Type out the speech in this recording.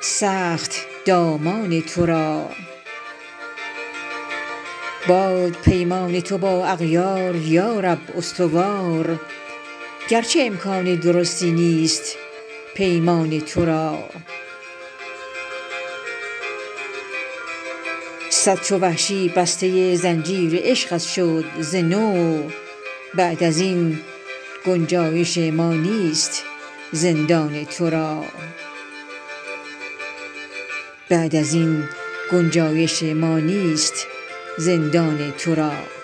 سخت دامان ترا باد پیمان تو با اغیار یارب استوار گرچه امکان درستی نیست پیمان ترا صد چو وحشی بسته زنجیر عشقت شد ز نو بعد از این گنجایش ما نیست زندان ترا